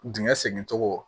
Dingɛ segin cogo